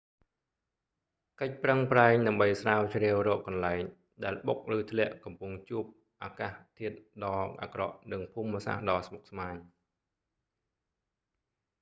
កិច្ចប្រឹងប្រែងដើម្បីស្រាវជ្រាវរកកន្លែងដែលដែលបុកឬធ្លាក់កំពុងជួបអាកាសធាតុដ៏អាក្រក់និងភូមិសាស្ត្រដ៏ស្មុគស្មាញ